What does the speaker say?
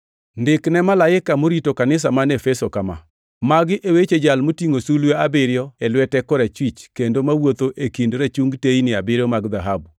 “Ndik ne malaika morito kanisa man Efeso kama: Magi e weche Jal motingʼo sulwe abiriyo e lwete korachwich kendo mawuotho e kind rachungi teyni abiriyo mag dhahabu: